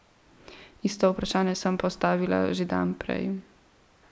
Isto vprašanje sem postavila že dan prej.